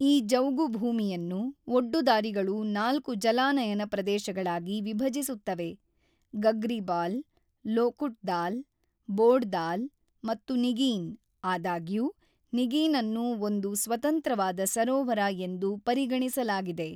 ಈ ಜೌಗು ಭೂಮಿಯನ್ನು ಒಡ್ಡುದಾರಿಗಳು ನಾಲ್ಕು ಜಲಾನಯನ ಪ್ರದೇಶಗಳಾಗಿ ವಿಭಜಿಸುತ್ತವೆ-ಗಗ್ರಿಬಾಲ್, ಲೋಕುಟ್ ದಾಲ್, ಬೋಡ್ ದಾಲ್ ಮತ್ತು ನಿಗೀನ್ (ಆದಾಗ್ಯೂ ನಿಗೀನ್ ಅನ್ನು ಒಂದು ಸ್ವತಂತ್ರವಾದ ಸರೋವರ ಎಂದು ಪರಿಗಣಿಸಲಾಗಿದೆ).